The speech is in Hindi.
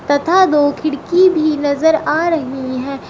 तथा दो खिड़की भी नजर आ रही है।